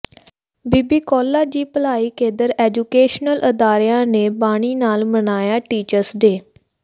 ਬੀਬੀ Kaulan ji Bhalai Kendra educational ਅਦਾਰਿਆਂ ਨੇ ਬਾਣੀ ਨਾਲ ਮਨਾਇਆ ਟੀਚਰਜ਼ ਡੇਅ